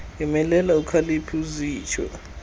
yomelela ukhaliphe zitsho